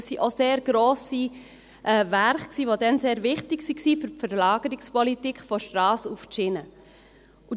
Das waren sehr grosse Werke, die damals sehr wichtig für die Verlagerungspolitik von der Strasse auf die Schiene waren.